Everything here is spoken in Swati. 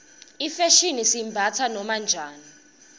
ifashini siyimbatsa noma njani